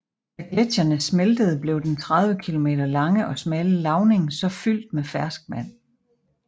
Da gletsjerne smeltede blev den 30 km lange og smalle lavning så fyldt med ferskvand